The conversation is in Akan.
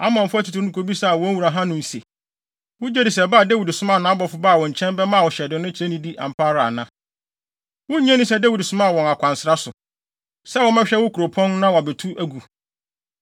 Amonfo atitiriw no kobisaa wɔn wura Hanun se, “Wugye di sɛ ba a Dawid somaa nʼabɔfo baa wo nkyɛn bɛmaa wo hyɛden no kyerɛ nidi ampa ara ana? Wunnye nni sɛ Dawid somaa wɔn akwansra so, sɛ wɔmmɛhwɛ wo kuropɔn na wɔabetu agu?”